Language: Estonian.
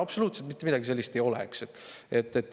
Absoluutselt mitte midagi sellist ei ole!